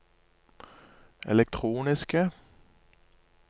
elektroniske